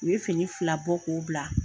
U ye fini fila bɔ k'o bila